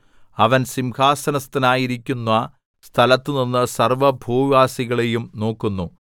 അവൻ സിംഹാസനസ്ഥനായിരിക്കുന്ന സ്ഥലത്തുനിന്ന് സർവ്വഭൂവാസികളെയും നോക്കുന്നു